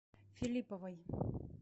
филипповой